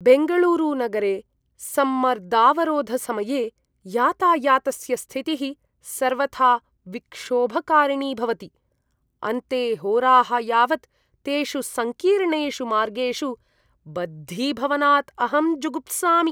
बेङ्गलूरुनगरे सम्मर्दावरोधसमये यातायातस्य स्थितिः सर्वथा विक्षोभकारिणी भवति। अन्ते होराः यावत् तेषु सङ्कीर्णेषु मार्गेषु बद्धीभवनात् अहं जुगुप्सामि।